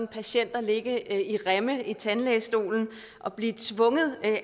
patienter ligge i remme i tandlægestolen og blive tvunget af